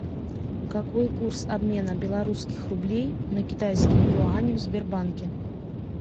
какой курс обмена белорусских рублей на китайские юани в сбербанке